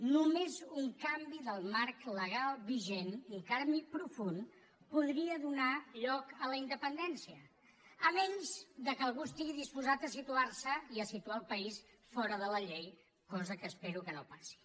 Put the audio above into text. només un canvi del marc legal vigent un canvi profund podria donar lloc a la independència a menys que algú estigui disposat a situar se i a situar el país fora de la llei cosa que espero que no passi